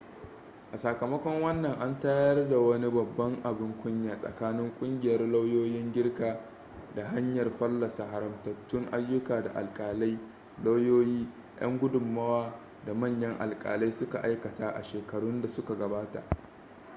a sakamakon wannan an tayar wani babban abin kunya tsakanin kungiyar lauyoyin girka ta hanyar fallasa haramtattun ayyuka da alkalai lauyoyi yan gudunmowa da manyan alkalai suka aikata a shekarun da suka gabata